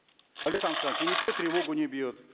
алихан асханович и никто тревогу не бьет